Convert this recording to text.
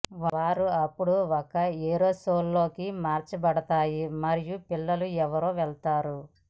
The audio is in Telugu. వారు అప్పుడు ఒక ఏరోసోల్ లోకి మార్చబడతాయి మరియు పిల్లల ఎయిర్వే వెళ్తాయి